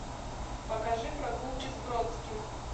покажи прогулки с бродским